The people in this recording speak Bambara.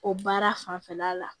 O baara fanfɛla la